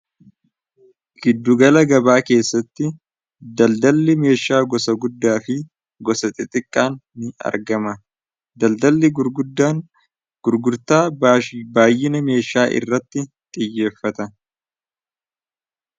Gidduugala gabaa keessatti daldalli meeshaa gosa guddaa fi gosa xixiqqaan ni argama daldalli gurgurtaa baayyina meeshaa irratti xiyyeeffata.